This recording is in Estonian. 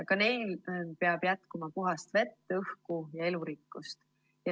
Ka neile peab jätkuma puhast vett, õhku ja elurikkust.